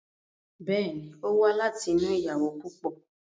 Bẹ́ẹ̀ ni, ó wá láti inú ìyàwó púpọ̀.